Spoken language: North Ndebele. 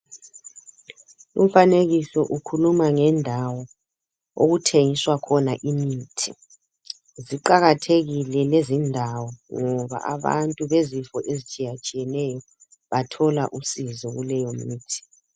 Umfanekiso ukhuluma ngendawo okuthengiswa khona imithi. Ziqakathekile lezindawo ngoba abantu bezifo ezitshiyatshiyeneyo bathola usizo kuleyomithi.